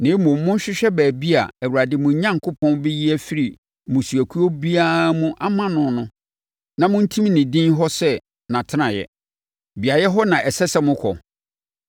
Na mmom, monhwehwɛ baabi a Awurade, mo Onyankopɔn, bɛyi afiri mo mmusuakuo mu ama mo no na montim ne din hɔ sɛ nʼatenaeɛ. Beaeɛ hɔ na ɛsɛ sɛ mokɔ.